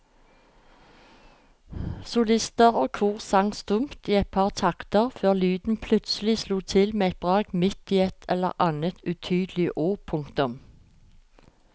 Solister og kor sang stumt i et par takter før lyden plutselig slo til med et brak midt i et eller annet utydelig ord. punktum